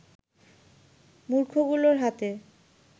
মূর্খগুলোর হাতে